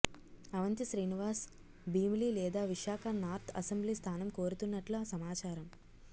అవంతి శ్రీనివాస్ భీమిలి లేదా Visakha north assembly స్థానం కోరుతున్నట్లు సమాచారం